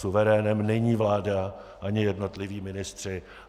Suverénem není vláda ani jednotliví ministři.